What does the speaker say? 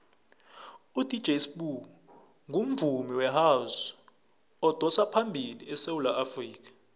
udj sbu ungumvumi wehouse odosaphambili esewula afrikha